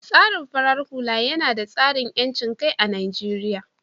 tsarin farar hula yina da tsarin yancinkai a Najeriya